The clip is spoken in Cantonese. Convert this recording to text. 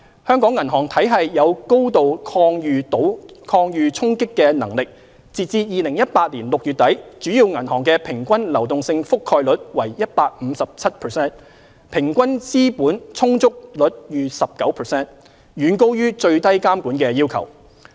香港銀行體系有高度抗禦衝擊的能力，截至2018年6月底，主要銀行的平均流動性覆蓋率為 157%， 平均資本充足率逾 19%， 遠高於最低監管要求。